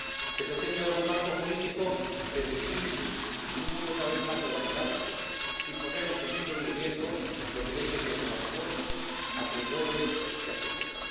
Se pretende dar un marco jurídico predecible, en un mundo cada vez más globalizado, sin poner en peligro ni en riesgo los derechos de los trabajadores, acreedores y accionistas.